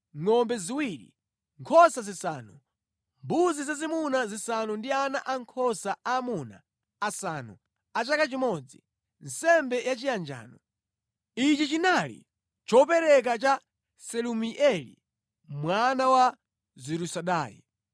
ngʼombe ziwiri, nkhosa zisanu, mbuzi zazimuna zisanu ndi ana ankhosa aamuna asanu a chaka chimodzi, nsembe yachiyanjano. Ichi chinali chopereka cha Selumieli mwana wa Zurisadai.